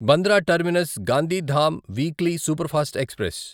Bandra terminus Gandhidham weekly superfast express